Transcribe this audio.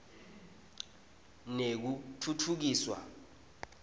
nekutfutfukiswa